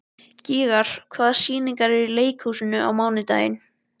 Gígjar, hvaða sýningar eru í leikhúsinu á mánudaginn?